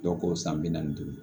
Dɔw k'o san bi naani duuru